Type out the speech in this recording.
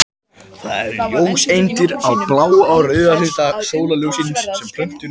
Það eru ljóseindir í bláa og rauða hluta sólarljóssins sem plöntur nota við ljóstillífun.